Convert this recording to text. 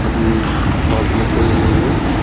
अभी इस शॉप में कोई नहीं है।